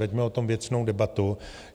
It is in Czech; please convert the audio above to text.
Veďme o tom věcnou debatu.